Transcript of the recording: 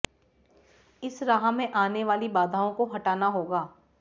इस राह में आने वाली बाधाओं को हटाना होगा